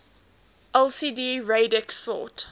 lsd radix sort